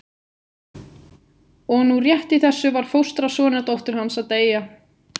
Og nú rétt í þessu var fóstra sonardóttur hans að deyja.